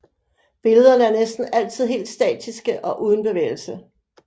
Billederne er næsten altid helt statiske og uden bevægelse